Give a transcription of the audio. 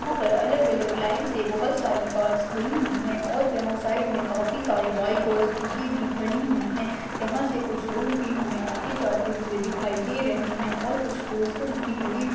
यहा पर अलग अलग लाइन से बहुत सारी कार्स खड़ी हुई है और यहा साइड मे काफी सारी बाइक और स्कूटी भी खड़ी हुई है यहा से कुछ लोग भी हमे आते जाते हुए दिखाई दे रहे है और कुछ पोस्टर्स भी लगे हुए --